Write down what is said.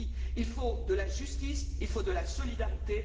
Il faut de la justice, il faut de la solidarité.